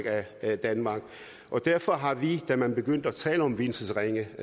af danmark derfor har vi da man begyndte at tale om vielsesringe